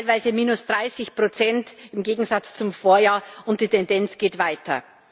Wir haben teilweise minus 30 Prozent im Gegensatz zum Vorjahr, und die Tendenz geht weiter.